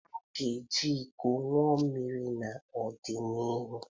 A ga-eji iko ṅụọ mmiri n'ọdịnịhu